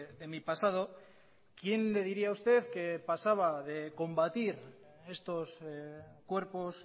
de mi pasado quién le diría a usted que pasaba de combatir estos cuerpos